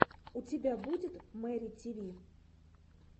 у тебя будет мэри тиви